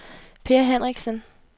Peer Henriksen